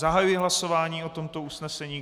Zahajuji hlasování o tomto usnesení.